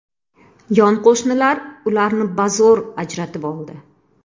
Yon qo‘shnilar ularni bazo‘r ajratib oldi.